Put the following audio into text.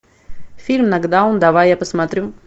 фильм нокдаун давай я посмотрю